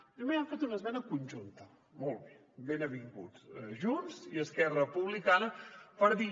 primer han fet una esmena conjunta molt bé ben avinguts junts i esquerra republicana per dir